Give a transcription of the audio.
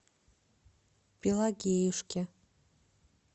пелагеюшке